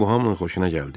Bu hamının xoşuna gəldi.